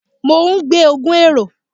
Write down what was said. Mo n gbe ogun ero